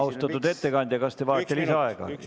Austatud ettekandja, kas te soovite lisaaega?